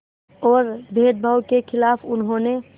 और भेदभाव के ख़िलाफ़ उन्होंने